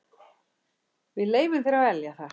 Við leyfum þér að velja það.